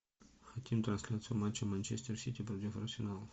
хотим трансляцию матча манчестер сити против арсенала